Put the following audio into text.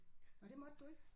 Nåh det måtte du ikke?